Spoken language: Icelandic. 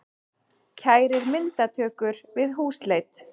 Kærir myndatökur við húsleit